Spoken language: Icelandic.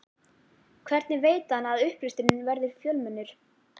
Hvernig veit hann að upplesturinn verður fjölmennur?